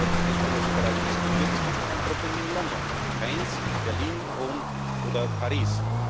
Wir hatten es letzte Woche bereits diskutiert Es gibt ein Problem in London und keines in Berlin, Rom oder Paris.